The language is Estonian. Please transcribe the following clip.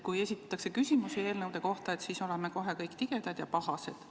Kui esitatakse küsimusi eelnõude kohta, siis oleme kohe kõik tigedad ja pahased.